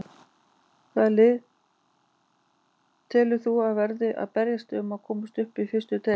Hvaða lið telur þú að verði að berjast um að komast upp í fyrstu deild?